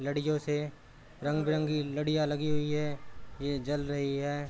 लडियो से रंग बिरंगी लाड़िया लगी हुई हैं ये जल रही हैं।